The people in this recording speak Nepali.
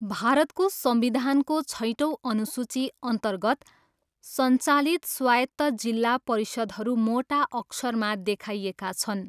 भारतको संविधानको छैटौँ अनुसूचीअन्तर्गत सञ्चालित स्वायत्त जिल्ला परिषदहरू मोटा अक्षरमा देखाइएका छन्।